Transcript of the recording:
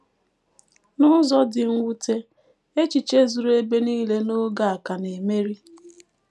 N’ụzọ dị mwute, “ echiche zuru ebe nile n’oge a ” ka na - emeri.